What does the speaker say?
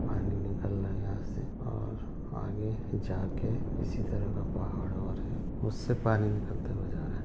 पानी निकल रहा है यहाँ से और आगे जाके इसी तरह का पहाड़ और है उससे पानी निकलते हुए जा रहा है।